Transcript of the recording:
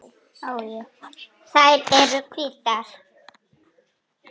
Þær eru hvítar.